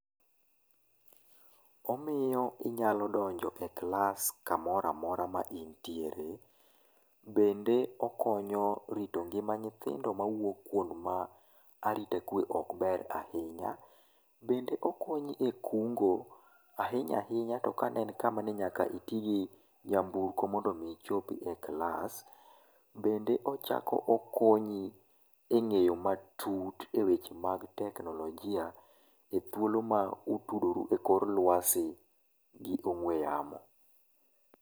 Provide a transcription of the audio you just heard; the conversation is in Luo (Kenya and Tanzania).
omiyo inyalo donjo e class kamora mora ma intiende bende okonyo rito nyima nyithindo ma wuok kuonde ma arita kwe okber ahinya, bende okonyi e kungo' ahinya ahinya to kane en kama ni nyaka itigi nyamburko mondo omo ichape e class bende ochako okonyi e nge'yo matut e weche mag teknolojia e thuolo ma utudoru e kolwasi gi ong'we yamo